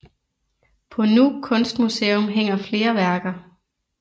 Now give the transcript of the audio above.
På Nuuk Kunstmuseum hænger flere værker